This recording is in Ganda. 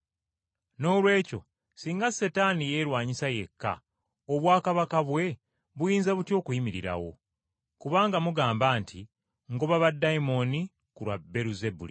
Noolwekyo, singa Setaani yeerwanyisa yekka obwakabaka bwe buyinza butya okuyimirirawo? Kubanga mugamba nti ngoba baddayimooni ku lwa Beeruzebuli.